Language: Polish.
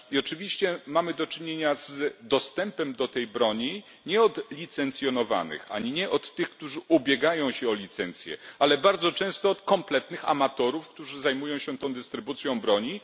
I oczywiście mamy do czynienia z dostępem do tej broni nie od licencjonowanych ani nie od tych, którzy ubiegają się o licencję, ale bardzo często od kompletnych amatorów, którzy zajmują się tą dystrybucją broni.